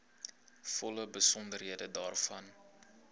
volle besonderhede daarvan